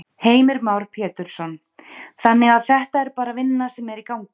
Heimir Már Pétursson: Þannig að þetta er bara vinna sem er í gangi?